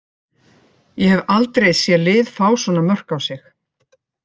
Ég hef aldrei séð lið fá svona mörk á sig.